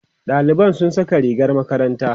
ɗaliban sun Saka rigar makaranta